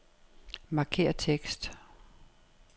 Markér tekst.